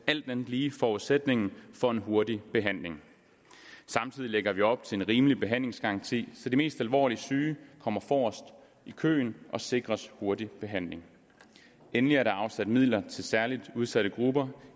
alt andet lige forudsætningen for en hurtig behandling samtidig lægger vi op til en rimelig behandlingsgaranti så de mest alvorlige syge kommer forrest i køen og sikres hurtig behandling endelig er der afsat midler til særlig udsatte grupper